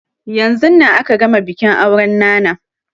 Yanzun nan aka gama bikin auren nana